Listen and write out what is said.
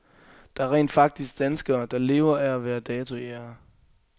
Der er rent faktisk danskere, der lever af at være datojægere.